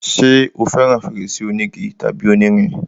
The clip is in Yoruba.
ṣé o fẹràn fèrèsé onígi tàbí onírin?